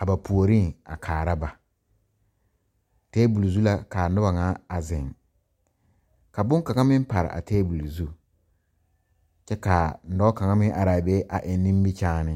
a ba puoriŋ a kaara ba tabol zu la kaa nobɔ ŋa a zeŋ ka bonkaŋa meŋ pare a tabol zu kyɛ kaa n dɔɔ kaŋa meŋ araa be a eŋ nimikyaane.